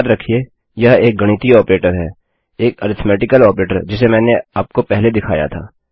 याद रखिये यह एक गणितीय ऑपरेटर है एक अरिथ्मेटिकल ऑपरेटर जिसे मैंने आपको पहले दिखाया था